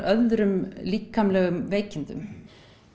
öðrum líkamlegum veikindum